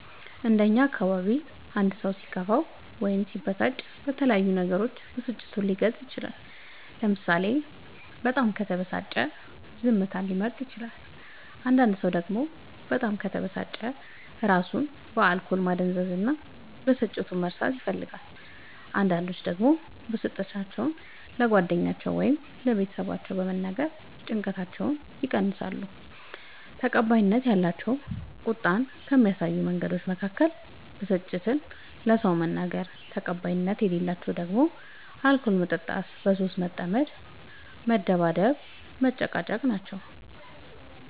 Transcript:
እንደ እኛ አካባቢ አንድ ሰው ሲከፋው ወይም ሲበሳጭ በተለያዩ ነገሮች ብስጭቱን ሊገልፅ ይችላል ለምሳሌ በጣም ከተበሳጨ ዝምታን ሊመርጥ ይችላል አንዳንድ ሰው ደግሞ በጣም ከተበሳጨ እራሱን በአልኮል ማደንዘዝ እና ብስጭቱን መርሳት ይፈልጋል አንዳንዶች ደግሞ ብስጭታቸው ለጓደኛ ወይም ለቤተሰብ በመንገር ጭንቀታቸውን ያቀላሉ። ተቀባይነት ያላቸው ቁጣን ከሚያሳዩ መንገዶች መካከል ብስጭትን ለሰው መናገር ተቀባይነት የሌላቸው ደግሞ አልኮል መጠጣት በሱስ መጠመድ መደባደብ መጨቃጨቅ